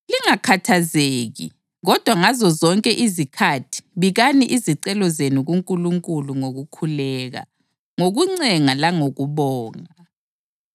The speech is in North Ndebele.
Lingakhathazeki kodwa ngazo zonke izikhathi bikani izicelo zenu kuNkulunkulu ngokukhuleka, ngokuncenga langokubonga.